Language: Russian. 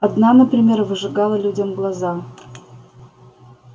одна например выжигала людям глаза